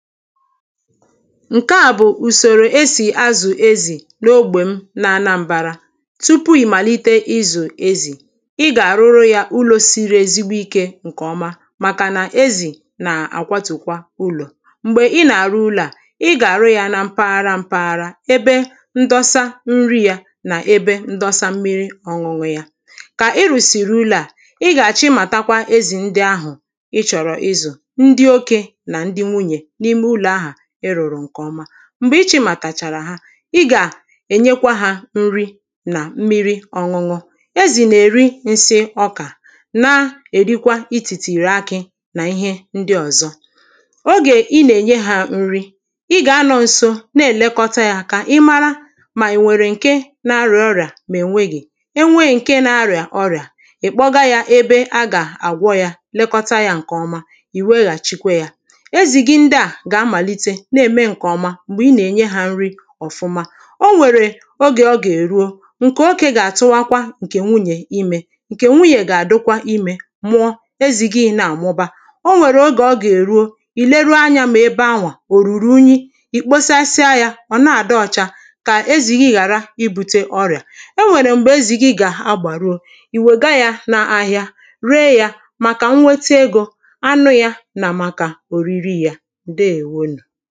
Ǹkeà bụ ùsòrò esì azụ̀ ezì n’ogbè m na anambar̄ā. Tupu ị̀ màlite ịzụ̀ ezì, ị gà-àrụrụ yā ụlọ̄ siri ezigbo ikē ǹkèọma, màkà nà ezì nà-àkwatù ụlọ̀ M̀gbè ị nà-àrụ ụlọ̄ à, ị gà-àrụ yā nā mpaghara mpaghara ebe ndọsa nri yā nà ebe ndọsa mmiri ọ̄ṅụ̄ṅụ̄ yā. Kà ịrụ̀sị̀rị̀ ụlọ̄ à, ị gà-àchịmàtakwa ezì ndị ahụ̀ ịchọ̀rọ̀ ịzụ̀, ndị okē nà ndị nwunyè n’ime ụlọ̀ ahụ̀ ịrụ̀rụ̀ ǹkèọma, M̀gbè ị chịmàt̀àchàrà ha, ị gà-ènyekwa hā nri nà mmiri ọ̄ṅụ̄ṅụ̄ Ezì nà-èri nsị okà, na-èrikwa itìtìrì akị̄ nà ihe ndị ọ̀zọ. Ogè ị nà-ènye hā nri, ị gà-anọ̄ n̄sō na-èlekọta yā kà ị mara mà è nwèrè ǹke na-arị̀à ọrị̀à mà e nwéghì, E nwee nke na-arịa ọria, ị kpọga ya ebe a ga-agwọ ya, lekọta ya nkeọma, i weghachikwa ya Ezì gị ndị à gà-amàlite na-ème ǹkèọma m̀gbè ị nà-ènye hā n̄rī ọ̀fụma O nwèrè ogè ọ gà-èruo, ǹkè okē gà-àtụbakwa ǹkè nwunyè imē Ǹkè nwunyè gà-àdụkwa imē mụọ, ezì gị nā àmụba O nwèrè ogè ọ gà-èruo, ì lee anyā mà ebe ahụ̀ ò rurù unyi, ì kpochasịa yā, ọ̀ na-àdị ọcha kà ezì gị ghàra ibūtē ọrị̀à E nwèrè m̀gbè ezì gị gà-agbàruo, ìwèga yā n’ahịa ree yā màkà nnwete egō, anụ yā nà màkà òriri yā, Ǹdeèwo nù.